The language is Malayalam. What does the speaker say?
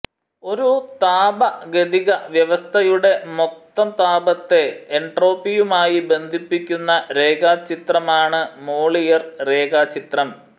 ഒരു താപഗതിക വ്യവസ്ഥയുടെ മൊത്തം താപത്തെ എൻട്രോപ്പിയുമായി ബന്ധിപ്പിക്കുന്ന രേഖാചിത്രമാണ് മോളിയർ രേഖാചിത്രം